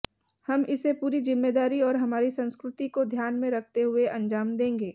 हम इसे पूरी जिम्मेदारी और हमारी संस्कृति को ध्यान में रखते हुए अंजाम देंगे